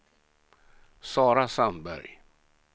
Sara Sandberg